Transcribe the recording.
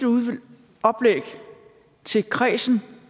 oplæg til kredsen